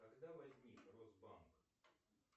когда возник росбанк